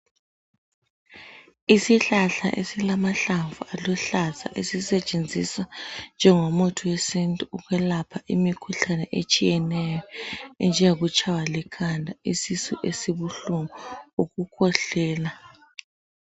Isihlahla esilamahlamvu aluhlaza esisetshenziswa njengomuthi wesintu ukwelapha imikhuhlane etshiyeneyo enjengokutshaywa likhanda, isisu esibuhlungu ukukhwehlela.